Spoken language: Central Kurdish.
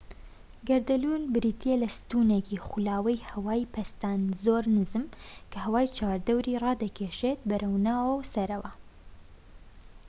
گەردەلوول بریتیە لە ستونێکی خولاوەی هەوای پەستان زۆر نزم کە هەوای چواردەوری ڕادەکیشێت بەرەوناوەوە و سەرەوە